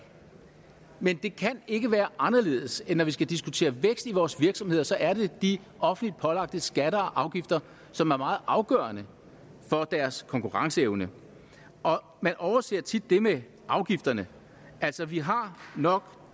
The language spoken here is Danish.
men det kan ikke være anderledes end at når vi skal diskutere vækst i vores virksomheder så er det de offentligt pålagte skatter og afgifter som er meget afgørende for deres konkurrenceevne man overser tit det med afgifterne altså vi har nok